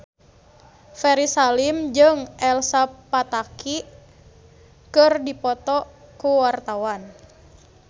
Ferry Salim jeung Elsa Pataky keur dipoto ku wartawan